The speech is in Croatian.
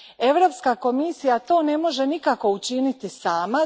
Europska komisija to ne može nikako učiniti sama.